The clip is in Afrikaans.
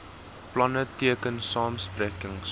planne teken samesprekings